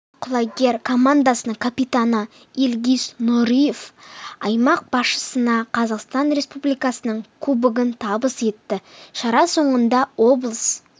ал құлагер командасының капитаны ильгиз нұриев аймақ басшысына қазақстан республикасының кубогын табыс етті шара соңында облыс